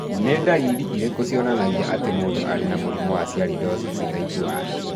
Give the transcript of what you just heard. Nĩ ndariri irĩkũ cionanagia atĩ mũndũ arĩ na mũrimũ wa Sialidosis type I?